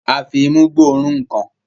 a fí imú gbó òrun nkán